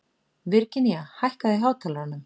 Virginía, hækkaðu í hátalaranum.